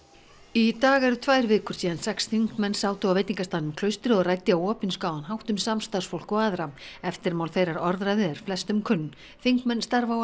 í dag eru tvær vikur síðan sex þingmenn sátu á veitingastaðnum Klaustri og ræddu á opinskáan hátt um samstarfsfólk og aðra eftirmál þeirrar orðræðu eru flestum kunn þingmenn starfa